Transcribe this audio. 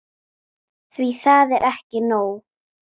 Því það er ekki nóg.